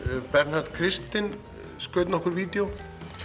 Bernharð Kristinn skaut nokkur vídeó